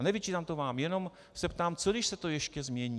A nevyčítám to vám, jenom se ptám: co když se to ještě změní?